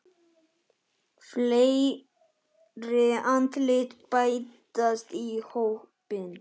Fleiri andlit bætast í hópinn.